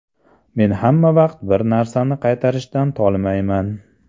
Men hamma vaqt bir narsani qaytarishdan tolmayman.